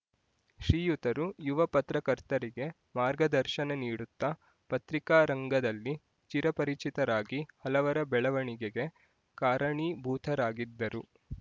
ಶ್ರೀಯುತರು ಯುವ ಪತ್ರಕರ್ತರಿಗೆ ಮಾರ್ಗದರ್ಶನ ನೀಡುತ್ತಾ ಪತ್ರಿಕಾ ರಂಗದಲ್ಲಿ ಚಿರಪರಿಚಿತರಾಗಿ ಹಲವರ ಬೆಳವಣಿಗೆಗೆ ಕಾರಣೀಭೂತರಾಗಿದ್ದರು